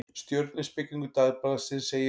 Stjörnuspekingur Dagblaðsins segir: